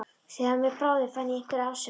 Þegar af mér bráði fann ég einhverja afsökun.